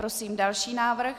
Prosím další návrh.